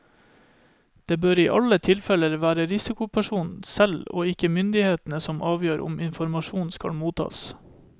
Det bør i alle tilfeller være risikopersonen selv og ikke myndighetene som avgjør om informasjon skal mottas.